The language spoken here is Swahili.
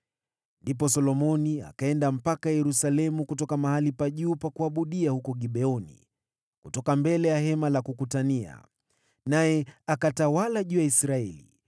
Ndipo Solomoni akaenda mpaka Yerusalemu kutoka mahali pa juu pa kuabudia huko Gibeoni, kutoka mbele ya Hema la Kukutania. Naye akatawala Israeli.